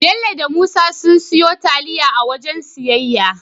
Bello da Musa sun siyo taliya a waken siyayya